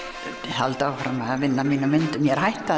halda áfram að vinna að mínum myndum ég er hætt að